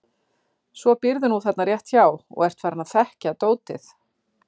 Svo býrðu nú þarna rétt hjá og ert farinn að þekkja dótið.